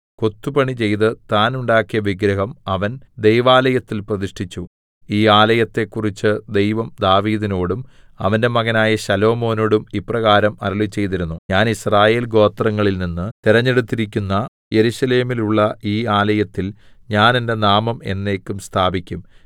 കൊത്തുപണി ചെയ്ത് താൻ ഉണ്ടാക്കിയ വിഗ്രഹം അവൻ ദൈവാലയത്തിൽ പ്രതിഷ്ഠിച്ചു ഈ ആലയത്തെക്കുറിച്ച് ദൈവം ദാവീദിനോടും അവന്റെ മകനായ ശലോമോനോടും ഇപ്രകാരം അരുളിചെയ്തിരുന്നു ഞാൻ യിസ്രായേൽ ഗോത്രങ്ങളിൽനിന്ന് തെരഞ്ഞെടുത്തിരിക്കുന്ന യെരൂശലേമിലുള്ള ഈ ആലയത്തിൽ ഞാൻ എന്റെ നാമം എന്നേക്കും സ്ഥാപിക്കും